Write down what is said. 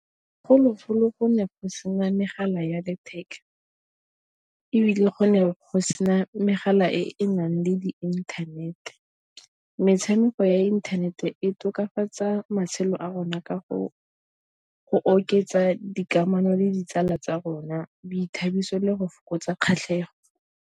Bogologolo go ne go sena megala ya letheka, ebile go ne go sena megala e e nang le di inthanete. Metshameko ya internet e tokafatsa matshelo a rona ka go go oketsa dikamano le ditsala tsa rona boithabiso le go fokotsa kgatlhego.